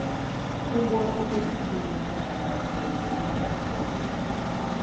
Ụgbọ okporoìgwè na-aga aga kwọriri mmadụ abụọ na Kano.